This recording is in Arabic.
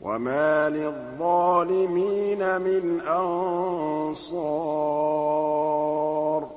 وَمَا لِلظَّالِمِينَ مِنْ أَنصَارٍ